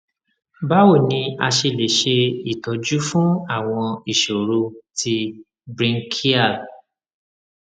báwo ni a ṣe lè ṣe itoju fun àwọn ìṣòro ti brinchial